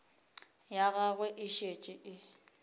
ya gagwe e šetše e